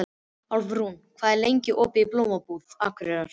Álfrún, hvað er lengi opið í Blómabúð Akureyrar?